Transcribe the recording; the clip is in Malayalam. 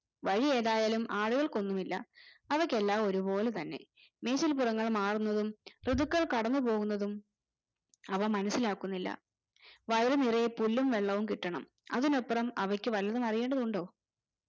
വഴിയേതായാലും ആടുകൾക്കൊന്നുമില്ല അവയ്ക്ക് എല്ലാം ഒരു പോലെ തന്നെ മീഷിലിപുറങ്ങൾ മാറുന്നതും ഋതുക്കൾ കടന്നുപോകുന്നതും അവ മനസിലാക്കുന്നില്ല വയറ് നിറയെ പുല്ലും വെള്ളവും കിട്ടണം അതിനപ്പറം അവയ്ക്ക് വല്ലതും അറിയേണ്ടതുണ്ടോ